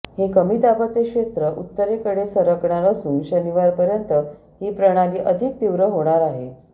हे कमी दाबाचे क्षेत्र उत्तरेकडे सरकणार असून शनिवारपर्यंत ही प्रणाली अधिक तीव्र होणार आहे